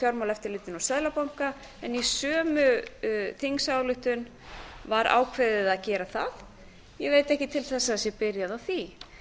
fjármálaeftirlitinu og seðlabanka en í sömu þingsályktun var ákveðið að gera það ég álit ekki til þess að það sé byrjað á því